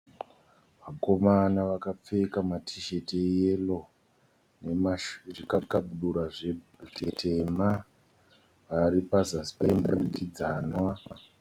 Vakomana vakapfeka matisheti eyero nezvikabudura zvitema vari pazasi peimba yomudurikidzanwa.